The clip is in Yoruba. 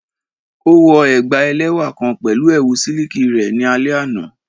O wọ ẹgba ẹlẹwa kan pẹlu ẹwu siliki rẹ ni alẹ ana